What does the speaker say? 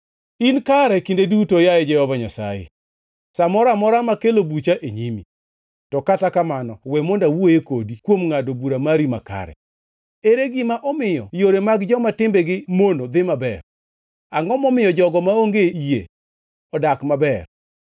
In kare kinde duto, yaye Jehova Nyasaye, sa moro amora makelo bucha e nyimi. To kata kamano we mondo awuoye kodi kuom ngʼado bura mari makare: Ere gima omiyo yore mag joma timbegi mono dhi maber? Angʼo momiyo jogo maonge yie odak maber?